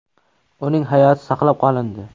Uning hayoti saqlab qolindi.